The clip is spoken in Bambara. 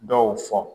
Dɔw fɔ